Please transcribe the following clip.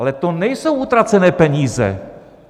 Ale to nejsou utracené peníze.